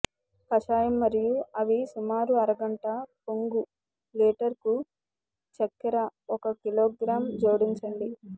కషాయం మరియు అవి సుమారు అర గంట పొంగు లీటరుకు చక్కెర ఒక కిలోగ్రాం జోడించండి